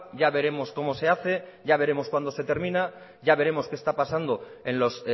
ya veremos cómo se hace ya veremos cuándo se termina ya veremos qué está pasando en los